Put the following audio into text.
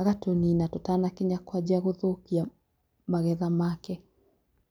agatũnina tũtanakinya kwanjia gũthũkia magetha make.